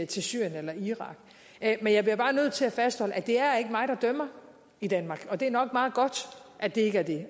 til syrien eller irak men jeg bliver bare nødt til at fastholde at det ikke er mig der dømmer i danmark og det er nok meget godt at det ikke er det